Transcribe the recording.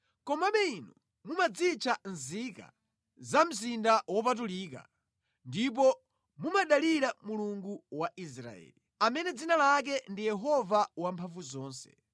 Komabe inu mumadzitcha nzika za mzinda wopatulika ndipo mumadalira Mulungu wa Israeli, amene dzina lake ndi Yehova Wamphamvuzonse: